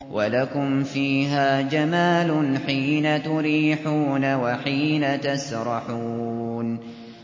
وَلَكُمْ فِيهَا جَمَالٌ حِينَ تُرِيحُونَ وَحِينَ تَسْرَحُونَ